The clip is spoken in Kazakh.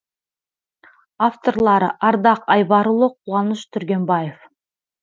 авторлары ардақ айбарұлы қуаныш түргенбаев